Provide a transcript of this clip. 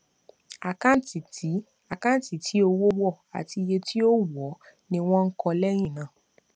àkáǹtì tí àkáǹtì tí owó wọ àti iye tí ó wọọ ni wọn kọ lẹyìn náà